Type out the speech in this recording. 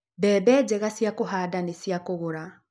Mbembe njega cia kũhanda nĩ cia kũgũra.